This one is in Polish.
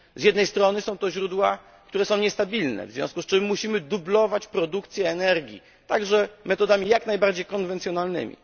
Z jednej strony są to źródła, które są niestabilne, w związku z czym musimy dublować produkcję energii także metodami jak najbardziej konwencjonalnymi.